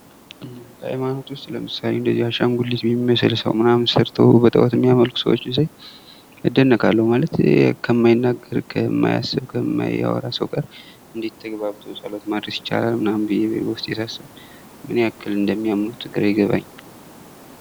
ከሃይማኖት ውስጥ ለምሳሌ አሻንጉሊት የሚመስል ሰው ምናምን ሰርተው ጣኦት የሚያመልኩ ሰዎችን ሳይ እደነቃለሁ ማለት የማይናገር፣ ከማያስብ፣ ከማያወራ ሰው ጋር እንዴት ተግባብቶ ጸሎት ማድረስ ይቻላል ምናምን ብዬ በውስጤ ሳስብ ምን ያክል እንደሚያምኑት ግራ ይገባኛል።